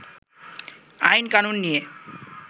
আইন-কানুন নিয়ে